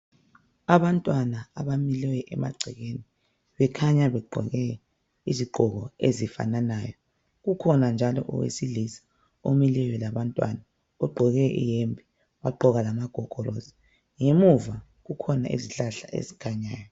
Abantwana abamileyo emagcekeni bakhanya begqoke izigqoko ezifananayo. Kukhona owesilisa omileyo ogqoke iyembe lamagogorosi. Ngemuva kukhona izihlahla ezikhanyayo.